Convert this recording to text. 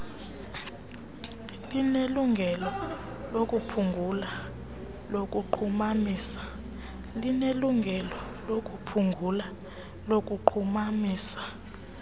linelungelo lokuphungula lokunqumamisa